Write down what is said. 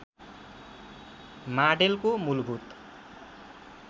माडेलको मूलभूत